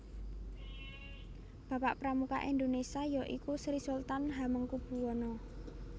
Bapak Pramuka Indonesia ya iku Sri Sultan Hamengkubuwono